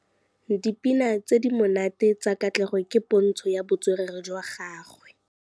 Dipina tse di monate tsa Katlego ke pôntshô ya botswerere jwa gagwe.